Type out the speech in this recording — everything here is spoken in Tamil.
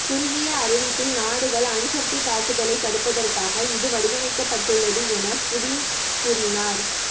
குறுகிய அறிவிப்பில் நாடுகள் அணுசக்தித் தாக்குதலைத் தடுப்பதற்காக இது வடிவமைக்கப்பட்டுள்ளது என புடின் கூறினார்